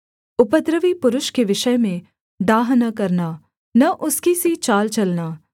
उपद्रवी पुरुष के विषय में डाह न करना न उसकी सी चाल चलना